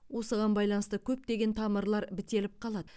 осыған байланысты көптеген тамырлар бітеліп қалады